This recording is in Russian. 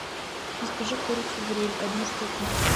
закажи курицу гриль одну штуку